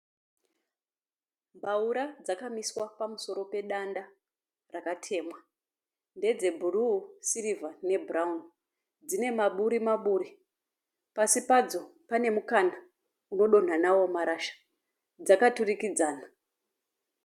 Mbaura dzakamiswa pamusoro pedanda rakatemwa, ndedzebhuruu, sirivha nebhurauni. Dzinemaburi-maburi, pasi padzo panemukana unodonha nawo marasha, dzakaturikidzana.